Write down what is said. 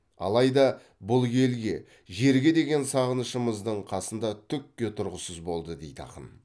алайда бұл елге жерге деген сағынышымыздың қасында түкке тұрғысыз болды дейді ақын